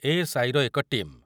A S I ର ଏକ team.